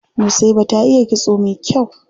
Nusaiba ta iya kitso mai kyau.